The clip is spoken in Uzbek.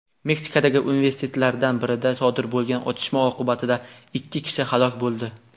Meksikadagi universitetlardan birida sodir bo‘lgan otishma oqibatida ikki kishi halok bo‘ldi.